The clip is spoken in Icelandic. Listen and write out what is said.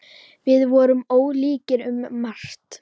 Við vorum ólíkir um margt.